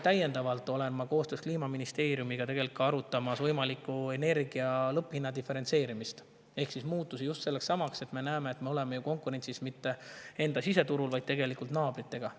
Täiendavalt arutan ma Kliimaministeeriumiga võimalikku energia lõpphinna diferentseerimist ehk muutusi just seetõttu, et me näeme, et me ei ole konkurentsis mitte enda siseturul, vaid tegelikult naabritega.